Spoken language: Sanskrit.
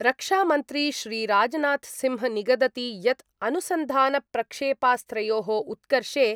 रक्षामन्त्री श्रीराजनाथसिंह निगदति यत् अनुसन्धानप्रक्षेपास्त्रयोः उत्कर्षे